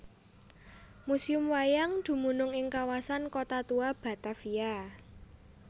Museum Wayang dumunung ing Kawasan Kota Tua Batavia